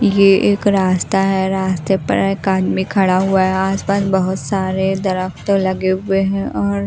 ये एक रास्ता है रास्ते पर एक आदमी खड़ा हुआ है आस पास बहोत सारे दरफ्तो लगे हुए हैं और--